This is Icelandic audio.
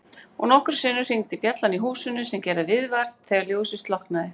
Og nokkrum sinnum hringdi bjallan í húsinu sem gerði viðvart þegar ljósið slokknaði.